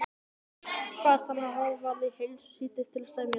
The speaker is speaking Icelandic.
Kvaðst hann hafa varið heilu síðdegi til að semja það.